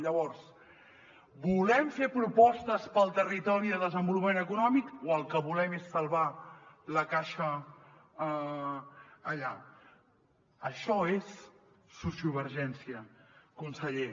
llavors volem fer propostes per al territori de desenvolupament econòmic o el que volem és salvar la caixa allà això és sociovergència conseller